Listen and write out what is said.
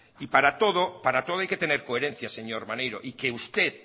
y para todo para todo hay que tener coherencias señor maneiro y que usted